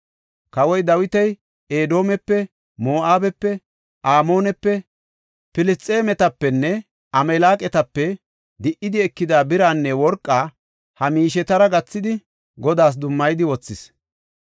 Kawoy Dawiti Edoomepe, Moo7abepe, Amoonepe, Filisxeemetapenne Amaaleqatape di77idi ekida biraanne worqa ha miishetara gathidi Godaas dummayidi wothis.